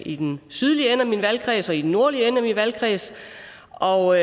i den sydlige ende af min valgkreds og i den nordlige ende af min valgkreds og